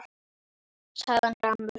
sagði hann gramur.